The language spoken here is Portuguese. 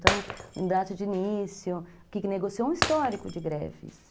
Então, em data de início, o que negociou um histórico de greves.